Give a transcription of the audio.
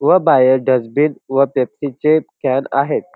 व बाहेर डस्टबिन व पेप्सी चे कॅन आहेत.